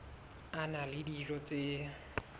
a na le dijo tse